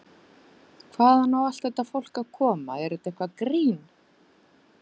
Hvaðan á allt þetta fólk að koma, er þetta eitthvert grín?